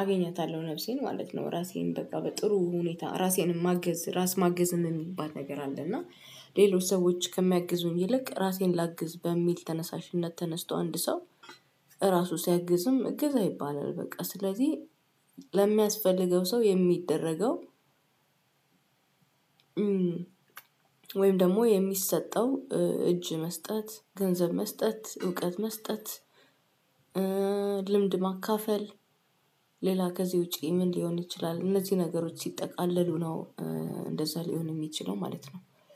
አገኛታለሁ ነፍሴን ማለት ነው። ራሴን በጣም በጥሩ ሁኔታ ራሴንም ማገዝ ራስ ማገዝ የሚባል ነገር አለ። እና ሌሎች ሰዎች ከሚያግዙኝ ይልቅ ራሴን ላግዝ በሚል ተነሳሽነት ተነስቶ አንድ ሰው ራሱ ሲያግዝም እገዛ ይባላል። በቃ ስለዚህ ለሚያስፈልገው ሰው የሚደረገው። ወይም ደግሞ የሚሰጠው እጅ መስጠት ገንዘብ መስጠት እውቀት መስጠት። ልምድ ማካፈል ሌላ ከዚህ ውጪ ምን ሊሆን ይችላል? እነዚህ ነገሮች ሲጠቃለሉ ነው እንደዛ ሊሆን የሚችለው ማለት ነው።